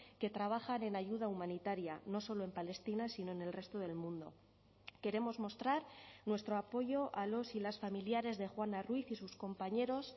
que trabajan en ayuda humanitaria no solo en palestina sino en el resto del mundo queremos mostrar nuestro apoyo a los y las familiares de juana ruiz y sus compañeros